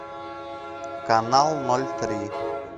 канал ноль три